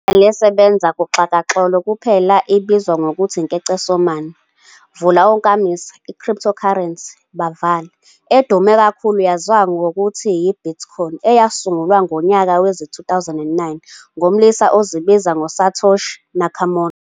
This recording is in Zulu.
Elisebenza kuxhakaxholo kuphela ibizwa ngokuthi iNkecesomane, "crypto currency", edume kakulu yaziwa ngokuthi yi-"Bitcoin" eyasungulwa ngonyaka wezi-2009 ngumlisa ozibiza ngoSatoshi Nakamoto.